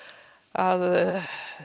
að